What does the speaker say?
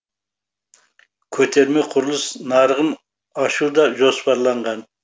көтерме құрылыс нарығын ашу да жоспарланған